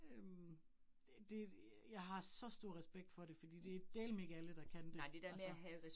Øh det jeg har så stor respekt for det fordi det dæleme ikke alle, der kan det altså